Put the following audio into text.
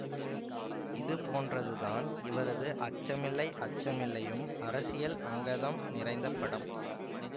இதுபோன்றதுதான் இவரது அச்சமில்லை அச்சமில்லையும் அரசியல் அங்கதம் நிறைந்த படம்